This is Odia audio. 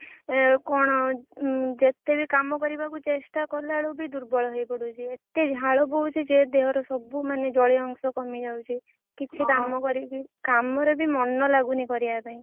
କଣ ଯେତେବି, କଣ ଯେତେବି କାମ କରିବାକୁ ଚେଷ୍ଟା କଲା ବେଳକୁବି ଦୁର୍ବଳ ହେଇ ପଡୁଛି। ଏତେ ଝାଳ ବୋହୁଛି ଯେ ଦେହରୁ ସବୁ ମାନେ ଜଳୀୟ ଅଂଶ କମି ଯାଉଛି, କିଛି କାମ ବି, କାମରେ ବି ମନ ଲାଗୁନି କରିବା ପାଇଁ।